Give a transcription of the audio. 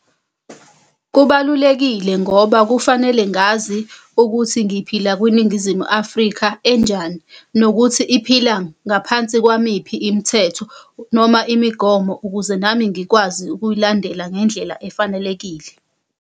Kubalulekile ngoba kufanele ngazi ukuthi ngiphila kwiNingizimu Afrika enjani. Nokuthi iphila ngaphansi kwamiphi imithetho noma imigomo, ukuze nami ngikwazi ukuyilandela ngendlela efanelekile.